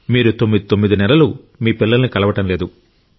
మీరు 99 నెలలు మీ పిల్లలను కలవడం లేదు